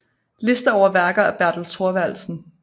Liste over værker af Bertel Thorvaldsen